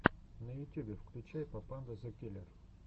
на ютюбе включай папанда зэ киллер